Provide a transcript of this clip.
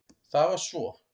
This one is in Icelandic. Það var svo